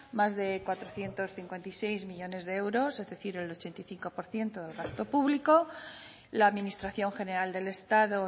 más de cuatrocientos cincuenta y seis millónes de euros es decir el ochenta y cinco por ciento del gasto público la administración general del estado